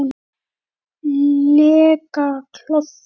lega klofi.